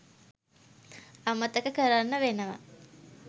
අමතක කරන්න වෙනව.